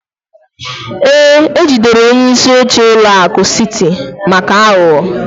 Ee, ejidere onye isi oche ụlọ akụ City maka aghụghọ